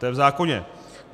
To je v zákoně.